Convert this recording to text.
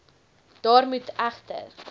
daar moet egter